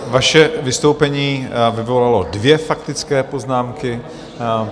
Vaše vystoupení vyvolalo dvě faktické poznámky.